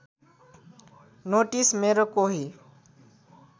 notice मेरो कोही